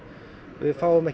við fáum ekki